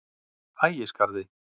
Ægisgarði